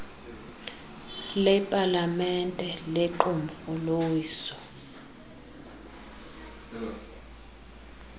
lepalamente lequmrhu lowiso